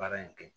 Baara in kɛ